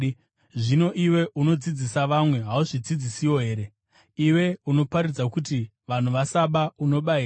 zvino iwe, unodzidzisa vamwe, hauzvidzidzisewo here? Iwe unoparidza kuti vanhu vasaba, unoba here?